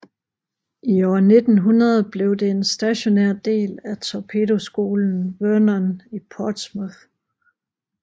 I år 1900 blev det en stationær del af torpedoskolen Vernon i Portsmouth